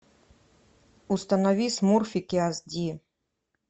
установи смурфики ас ди